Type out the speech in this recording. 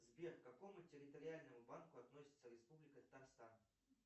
сбер к какому территориальному банку относится республика татарстан